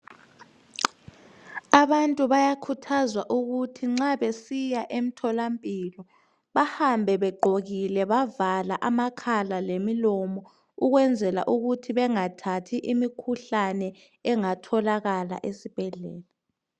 Abantu bayakhuthazwa ukuthi nxa besiya emtholampilo bahambe begqokile bavala amakhala lemilomo ukwenzela ukuthi bengathathi imikhuhlane engathokala esibhedlela.